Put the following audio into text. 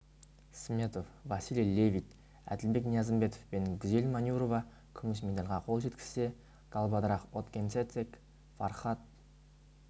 сметов василий левит әділбек ниязымбетов пен гүзел манюрова күміс медальға қол жеткізсе галбадрах отгонцэцэг фархад